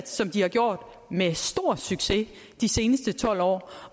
som de har gjort med stor succes i de seneste tolv år